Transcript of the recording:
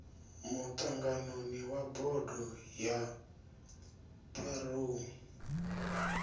muṱanganoni wa bodo ya pharou